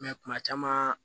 kuma caman